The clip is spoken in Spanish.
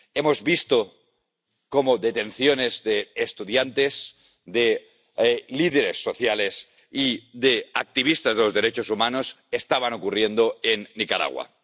Hemos visto cómo detenciones de estudiantes, de líderes sociales y de activistas de los derechos humanos estaban ocurriendo en Nicaragua.